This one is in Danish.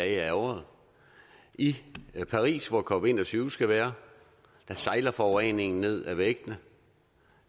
et år i paris hvor cop en og tyve skal være sejler forureningen ned ad væggene